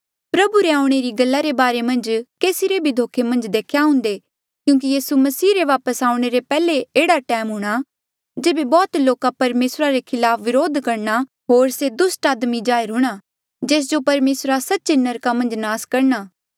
प्रभु रे आऊणें री गल्ला रे बारे मन्झ केसी रे भी धोखे मन्झ देख्या आऊंदे क्यूंकि यीसू मसीह रे वापस आऊणें रे पैहले एह्ड़ा टैम हूंणा जेबे बौह्त लोका परमेसरा रे खलाप विद्रोह करणा होर से दुस्ट आदमी जाहिर हूंणा जेस जो परमेसरा सच्चे नरका मन्झ नास करणा